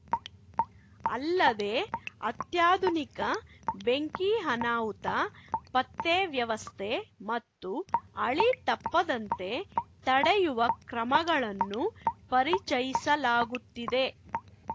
ಅಲ್ಲದೇ ಅತ್ಯಾಧುನಿಕ ಬೆಂಕಿ ಅನಾಹುತ ಪತ್ತೆ ವ್ಯವಸ್ಥೆ ಮತ್ತು ಹಳಿತಪ್ಪದಂತೆ ತಡೆಯುವ ಕ್ರಮಗಳನ್ನು ಪರಿಚಯಿಸಲಾಗುತ್ತಿದೆ